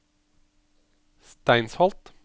Steinsholt